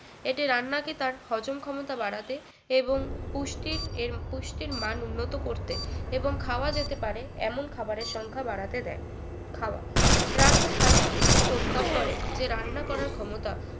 এটি রান্না কে তার হজম ক্ষমতা বাড়াতে এবং পুষ্টির এর পুষ্টির মান উন্নত করতে এবং খাওয়া যেতে পারে এমন খাবারের সংখ্যা বাড়াতে দেয় খাওয়া রান্নার hypothesis প্রস্তাব করে যে রান্না করার ক্ষমতা